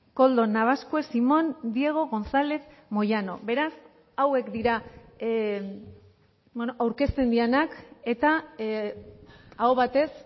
koldo nabaskues simón diego gonzález moyano beraz hauek dira aurkezten direnak eta aho batez